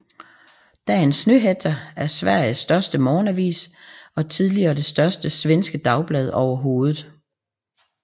Dagens Nyheter er Sveriges største morgenavis og tidligere det største svenske dagblad overhovedet